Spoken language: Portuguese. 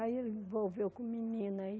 Aí ele envolveu com menina aí.